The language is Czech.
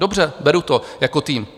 Dobře, beru to, jako tým.